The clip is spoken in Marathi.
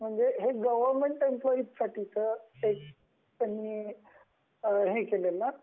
हे गवर्नमेंट एम्प्लोयीसाठी च आहे आता अस